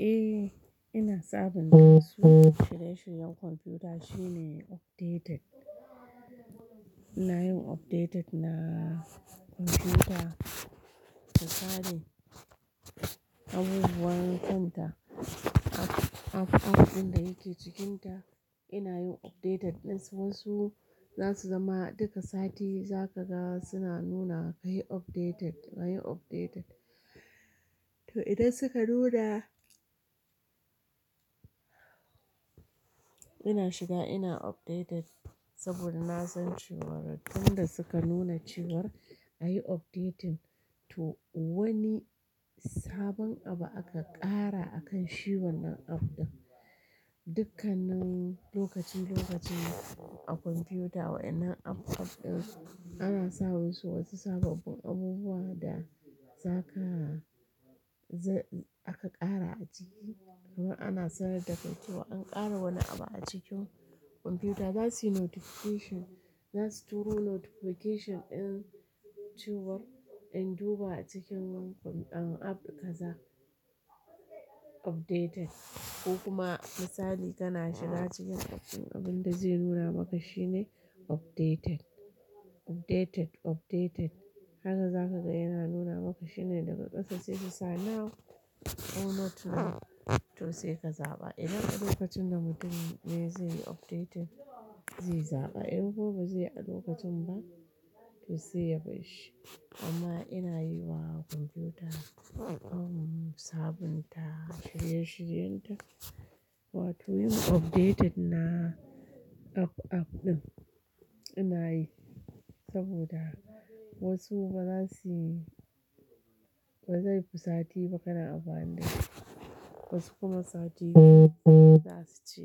Eh, ina sabunta su. Shirye-shiryen kwamfuta shine updated. Ina yin updated na kwamfuta, misali abubuwan ƙanta app-app ɗin da yake cikinta ina yin updated ɗin su. Wasu zasu zama duka sati za ka ga suna nuna ka yi updated, ka yi updated. To idan suka nuna ina shiga ina updated saboda na san ciwar duk da suka nuna cewar a yi updating to wani sabon abu aka ƙara a kan shiwar nan app ɗin. Dukkanin lokacin-lokacin a kwamfuta wainnan app-app ɗin ana sa wa su wasu sababbin abubuwa da za ka, aka ƙara a ciki. Kuma ana sanar da kai cewa an ƙara wani abu a cikin kwamfuta. Zasu yi notification, zasu turo notification in cewar in duba a cikin wannan app kaza updated. Ko kuma misali kana shiga cikin app ɗin abin da zai nuna maka shine updated, updated, updated. Haka za ka ga yana nuna maka shine daga ƙasa sai su sa now or not now to sai ka zaɓa. Idan a lokacin da mutum me zai yi updating zai zaɓa in ko ba zai a lokacin ba to sai ya bar shi. Amma ina yi wa kwamfuta saboda sabunta shirye-shiryen ta. Wato yin updated na app-app ɗin ina yi saboda wasu ba za su, ba zai fi sati ba kana kanayi. Wasu kuma sati za su ce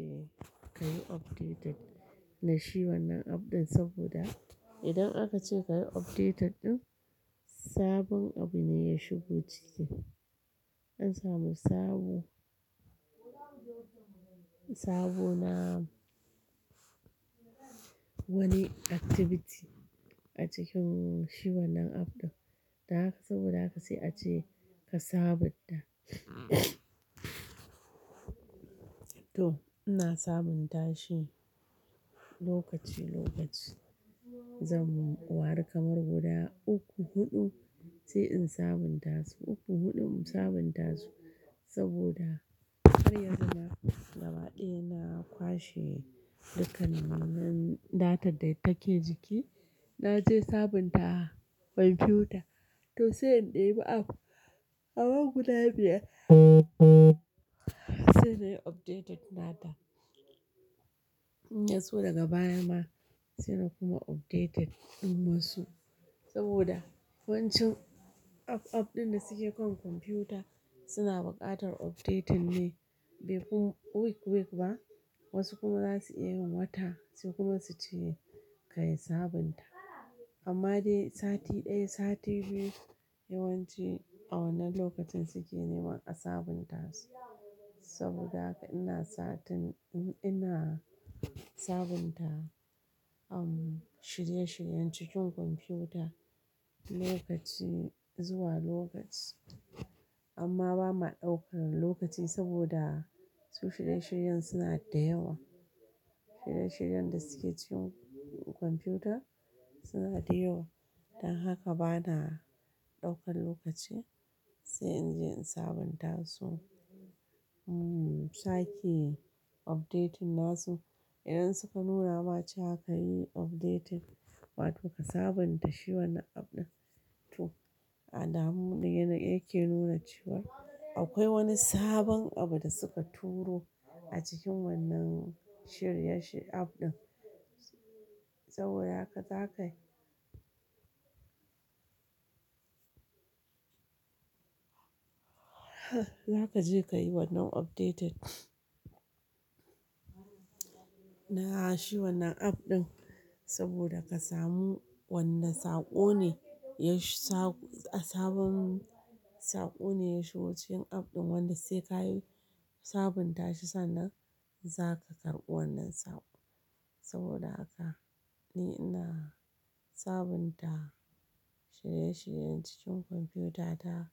ka yi updated na shiwar nan app ɗin saboda idan aka ce ka yi updated ɗin sabon abu ne ya shigo ciki. An samu sabo, sabo na wani activity a cikin shiwar nan app ɗin. Da haka saboda haka sai a ce ka sabunta. To ina sabunta shi lokaci-lokaci. Zan ware kamar guda uku, huɗu sai in sabunta su. Uku, huɗu sabunta su saboda har yanzu gaba ɗaya na kwashe dukkanin datan da take jiki. Na je sabunta kwamfuta to sai in ɗebi app amma guda biyar sai na yi updated nata. Inyaso daga baya ma saina kuma updated na wasu saboda yawancin app-app ɗin da suke kan kwamfuta suna buƙatar updating ne, before week-week ba. Wasu kuma za su iya yin wata sai kuma su ce ka yi sabunta. Amma dai sati ɗaya, sati biyu yawanci a wannan lokacin suke neman a sabunta su. Saboda haka ina satin, ina sabunta am shirye-shiryen cikin kwamfuta lokaci zuwa lokaci. Amma ba ma ɗaukan lokaci saboda su shirye-shiryen suna da yawa. Shirye-shiryen da suke cikin kwamfuta suna da yawa. Dan haka ba na ɗaukan lokaci sai in je in sabunta su. In sake updating nasu. Idan suka nuna ma cewa ka yi updating wato ka sabunta shi wanan app ɗin to alamun da yake nuna cewar. Akwai wani sabon abu da suka turo a cikin wannan shirye-shi app ɗin. Sabo ha ka, za ka yi. Za ka je ka yi wannan updated na shi wannan app ɗin saboda ka samu wani saƙo ne, ya sabon saƙo ne ya shigo cikin app ɗin wanda sai ka yi sabunta shi sannan za ka karɓi wannan sabo. Saboda haka ni ina sabunta shirye-shiryen cikin kwamfuta ta.